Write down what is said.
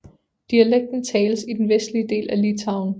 Dialekten tales i den vestlige del af Litauen